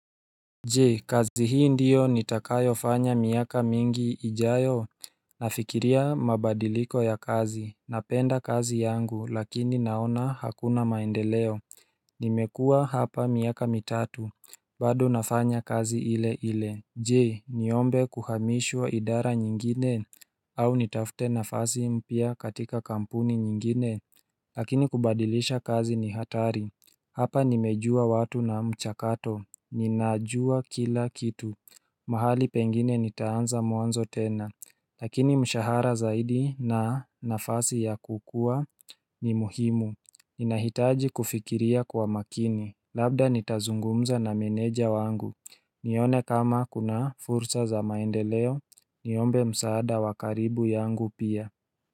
Je kazi hii ndiyo nitakayofanya miaka mingi ijayo Nafikiria mabadiliko ya kazi napenda kazi yangu lakini naona hakuna maendeleo Nimekua hapa miaka mitatu bado nafanya kazi ile ile Je niombe kuhamishwa idara nyingine au nitafute nafasi mpya katika kampuni nyingine Lakini kubadilisha kazi ni hatari Hapa nimejua watu na mchakato Ninajua kila kitu mahali pengine nitaanza mwanzo tena Lakini mshahara zaidi na nafasi ya kukua ni muhimu inahitaji kufikiria kwa makini Labda nitazungumza na meneja wangu nione kama kuna fursa za maendeleo Niombe msaada wa karibu yangu pia.